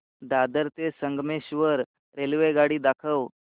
दादर ते संगमेश्वर रेल्वेगाडी दाखव